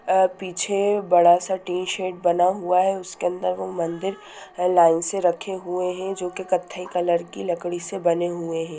अ पीछे बड़ा सा टीन शेड बना हुआ है उसके अंदर एगो मंदिर है लाइन से रखे हुए है जो की कत्थे कलर की लकड़ी से बने हुए है।